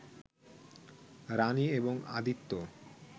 রানি এবং আদিত্য